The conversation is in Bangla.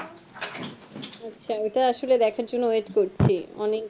আচ্ছা ওটা আসলে দেখার জন্যে wait করছি অনেক